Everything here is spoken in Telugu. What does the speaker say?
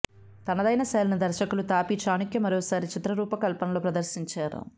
తనదైన శైలిని దర్శకులు తాపీ చాణుక్య మరోసారి చిత్ర రూపకల్పనలో ప్రదర్శించారు